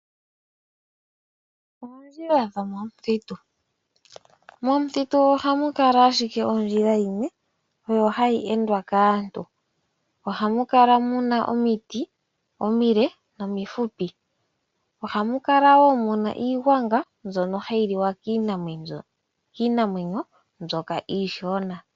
Oondjila dhomomuthitu ohamu kala owala ondjila yimwe oyo hayi endwa kaantu oha mu kala mu na omiti omile nomifupi. Oha mu kala wo iigwanga mbyono hayi liwa kiinamwenyo mbyoka iishona.